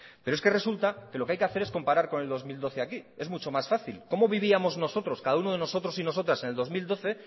pero es que resulta que lo que hay que hacer es comparar con el dos mil doce aquí es mucho más fácil cómo vivíamos nosotros cada uno de nosotros y nosotras en el dos mil doce